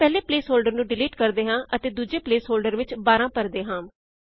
ਅਸੀਂ ਪਹਿਲੇ placeholder ਨੂੰ ਡਿਲੀਟ ਕਰਦੇ ਹਾਂ ਅਤੇ ਦੂਜੇ ਪ੍ਲੇਸ ਹੋਲ੍ਡਰ ਵਿੱਚ 12 ਬਾਰਾਂ ਭਰਦੇ ਹਾਂ